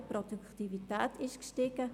Auch die Produktivität ist gestiegen.